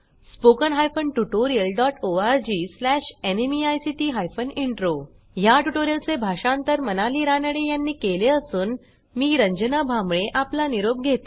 spoken hyphen tutorial dot ORG slash NMEICT hyphen intro ह्या ट्युटोरियलचे भाषांतर मनाली रानडे यांनी केले असून मी रंजना भांबळे आपला निरोप घेते160